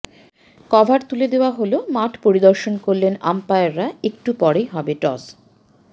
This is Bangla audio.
কভার তুলে দেওয়া হল মাঠ পরিদর্শন করলেন আম্পায়াররা একটু পরেই হবে টস